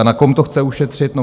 A na kom to chce ušetřit?